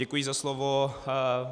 Děkuji za slovo.